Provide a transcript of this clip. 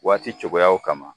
Waati cogoyaw kama.